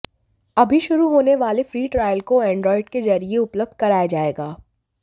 अभी शुरू होने वाली फ्री ट्रायल को एंड्रॉएड के जरिए उपलब्ध कराया जाएगा